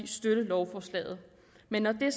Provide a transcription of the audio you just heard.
støtte lovforslaget men når det